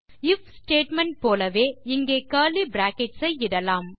if statement போலவே இங்கே curly brackets ஐ இடலாம்